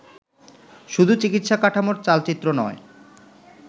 শুধু চিকিৎসা-কাঠামোর চালচিত্র নয়